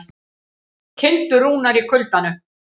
Kindur rúnar í kuldanum